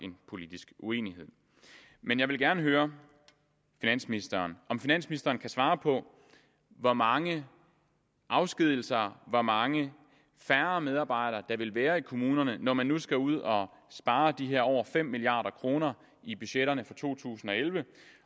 en politisk uenighed men jeg vil gerne høre finansministeren om finansministeren kan svare på hvor mange afskedigelser hvor mange færre medarbejdere der vil være i kommunerne når man nu skal ud og spare de her over fem milliard kroner i budgetterne for to tusind og elleve